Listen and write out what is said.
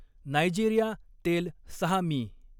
Nigeria, तेल, सहा मि.